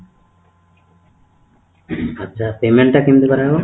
ଆଛା payment ଟା କେମିତି କରା ହବ ?